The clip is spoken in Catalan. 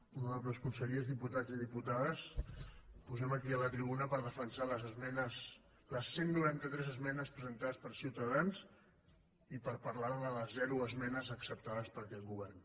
honorables consellers diputats i diputades pugem aquí a la tribuna per defensar les cent i noranta tres esmenes presentades per ciutadans i per parlar de les zero esmenes acceptades per aquest govern